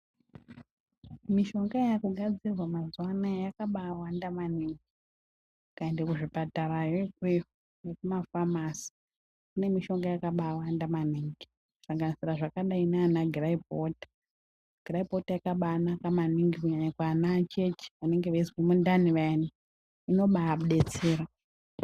Mishonga yakugadzirwa mazuwa anaya yakabaawanda maningi. Ukaenda kuzvipatara yo ikweyo nekumafamasi kune mishonga yakabaawanda maningi kusanganisira zvakadai ndiana giraipi wota. Giraipi wota yakabaanaka maningi kunyanya kuana acheche vanenge veizwa mundani vayaa. Inobaabetsera.